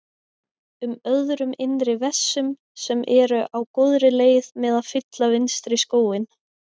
um öðrum innri vessum sem eru á góðri leið með að fylla vinstri skóinn.